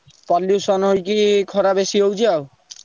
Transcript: Pollution ହେଇକି ଖରା ବେଶୀ ହଉଛି ଆଉ।